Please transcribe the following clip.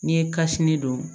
N'i ye kasi ni don